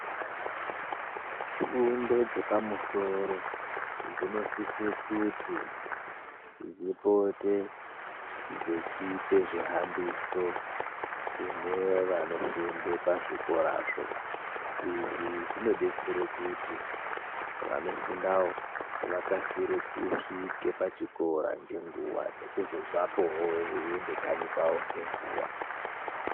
Fundo dzepamusoro dzinosise kuti dzipote dzechipe zvihambiso kune vanofunde pazvikorazvo. Izvi zvinodetsere kuti vanofundawo vakasire kusvike pachikora ngenguwa nekuzobvapowo veiende kanyi kwawo ngenguwa.